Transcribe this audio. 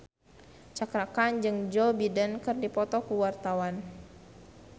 Cakra Khan jeung Joe Biden keur dipoto ku wartawan